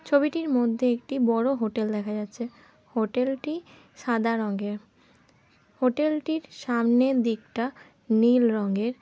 ছবিটির মধ্যে একটি বড় হোটেল দেখা যাচ্ছে। হোটেল টি সাদা রং এর। হোটেল টির সামনে দিকটা নীল রঙের।